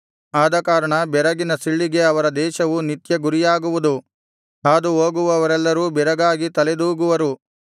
ಆದಕಾರಣ ಬೆರಗಿನ ಸಿಳ್ಳಿಗೆ ಅವರ ದೇಶವು ನಿತ್ಯ ಗುರಿಯಾಗುವುದು ಹಾದುಹೋಗುವವರೆಲ್ಲರೂ ಬೆರಗಾಗಿ ತಲೆದೂಗುವರು